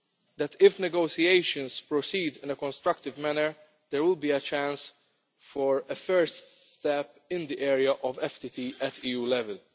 that, if negotiations proceed in a constructive manner, there will be a chance for a first step in the area of FTT at EU level.